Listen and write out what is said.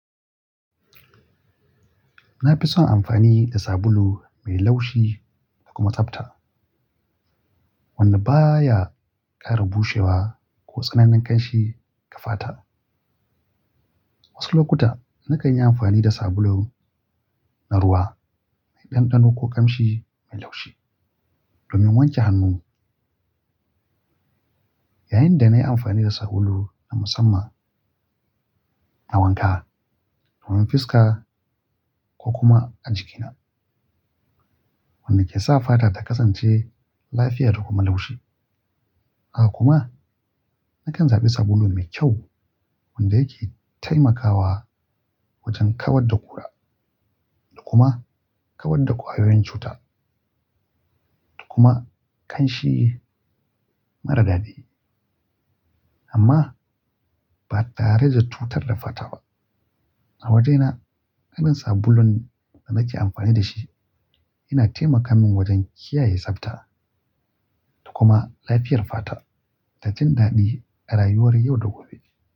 Na fi son amfani da sabulu mai laushi da kuma tsafta, wanda ba ya ƙara bushewa ko tsananin ƙanshi ƙafata. Wasu lokuta na kan yi amfani da sabulun na ruwa mai ɗanɗano ko ƙanshi mai laushi domin wanke hannuni. Yayin da na yi amfani da sabulu na musamman na wanka, domin fiska ko kuma a jikina, wanda ke sa fata ta kasance lafiya da kuma laushi. A haka kuma na kan zaɓi sabulu mai kyau wanda yake taimakawa wajen kawar da ƙura da kuma kawar da ƙwayoyin cuta da kuma ƙanshi mara daɗi amma ba tare da cutar da fata ba. A wajena irin sabulun da nake amfani da shi yana taimaka min wajen kiyaye tsafta da kuma lafiyar fata ta jin daɗi a rayuwar yau da gobe.